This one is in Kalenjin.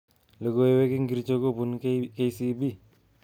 Logoiwek ingircho kobun K.C.B